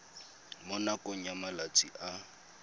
mo nakong ya malatsi a